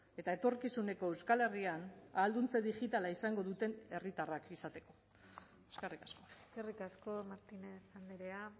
eta etorkizuneko euskal herrian ahalduntze digitala izango duten herritarrak izateko eskerrik asko eskerrik asko martinez andrea